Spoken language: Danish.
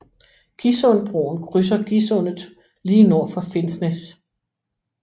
Gisundbroen krydser Gisundet lige nord for Finnsnes